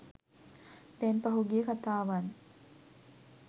දැන් පහුගිය කතාවන්